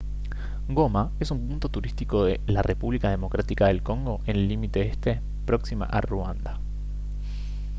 goma es un punto turístico de la república democrática del congo en el límite este próxima a ruanda